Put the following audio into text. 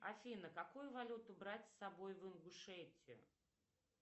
афина какую валюту брать с собой в ингушетию